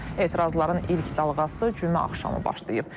Etirazların ilk dalğası cümə axşamı başlayıb.